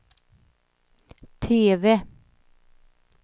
TV